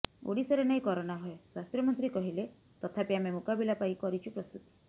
ଓଡିଶାରେ ନାହିଁ କରୋନା ଭୟ ସ୍ବାସ୍ଥ୍ୟ ମନ୍ତ୍ରୀ କହିଲେ ତଥାପି ଆମେ ମୁକାବିଲା ପାଇଁ କରିଛୁ ପ୍ରସ୍ତୁତି